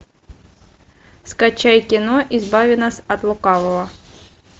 скачай кино избави нас от лукавого